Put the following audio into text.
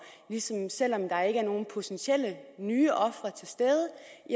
siden selv om der ikke er nogen potentielle nye ofre til stede